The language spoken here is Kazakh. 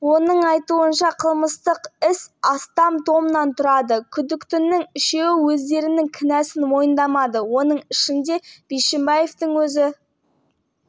тергеу барысында өзін қорғайтындай дәлелдемелерді дәлелдер мен құжаттарды бермеді кінәсін оның бауыры да мойындамады сондай-ақ